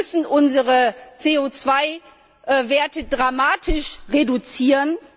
Wir müssen unsere CO 2 Werte dramatisch reduzieren.